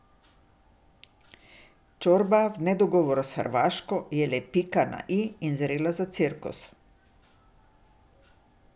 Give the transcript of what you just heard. Čorba v nedogovoru s Hrvaško je le pika na i in zrela za cirkus.